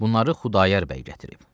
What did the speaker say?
Bunları Xudayar bəy gətirib.